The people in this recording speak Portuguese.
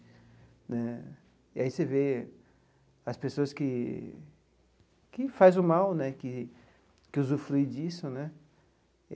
Né e aí você vê as pessoas que que faz o mal né, que que usufrui disso né.